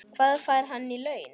Hvað fær hann í laun?